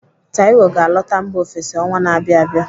Taiwo ga-alọta mba ofesi ọnwa na-abịa abịa.